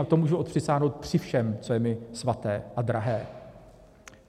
A to můžu odpřisáhnout při všem, co je mi svaté a drahé.